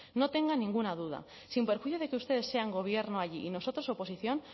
no tenga ninguna duda sin perjuicio de que ustedes sean gobierno allí y nosotros oposición